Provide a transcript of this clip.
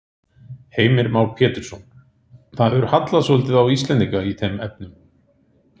Heimir Már Pétursson: Það hefur hallað svolítið á Íslendinga í þeim efnum?